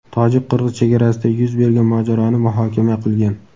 tojik-qirg‘iz chegarasida yuz bergan mojaroni muhokama qilgan.